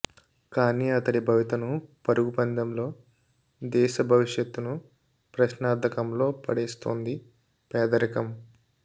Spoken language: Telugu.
కానీ అతడి భవితను పరుగు పందెంలో దేశ భవిష్యత్తును ప్రశ్నార్థకంలో పడేస్తోంది పేదరికం